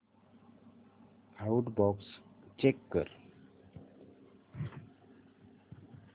outbox check कर